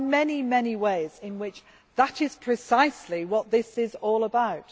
So there are many ways in which that is precisely what this is all about.